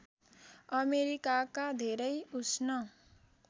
अमेरिकाका धेरै उष्ण